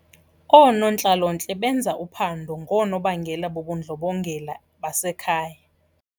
Oonontlalontle benza uphando ngoonobangela bobundlobongela basekhaya.